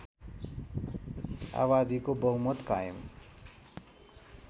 आबादीको बहुमत कायम